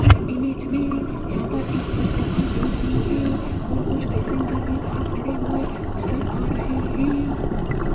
इस इमेज में यहाँ पर एक बस दिखाई दे रही है और कुछ पैसेंजर भी बाहर खड़े हुए नजर आ रहे हैं।